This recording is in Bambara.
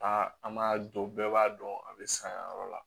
Aa an m'a dɔn bɛɛ b'a dɔn a bɛ san yan yɔrɔ la